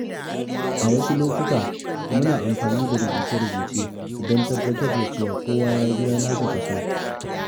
Wasu lokuta muna amfani da rubuce-rubuce don tabbatar da cewa kowa ya biya nasa kaso.